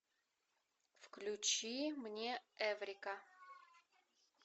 включи мне эврика